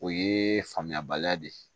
O ye faamuyabaliya de ye